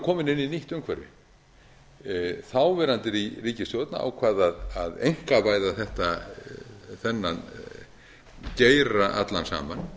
komin inn í nýtt umhverfi þáverandi ríkisstjórn ákvað a einkavæða þennan geira allan saman